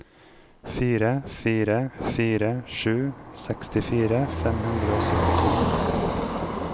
fire fire fire sju sekstifire fem hundre og syttito